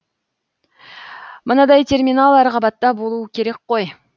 мынадай терминал әр қабатта болуы керек қой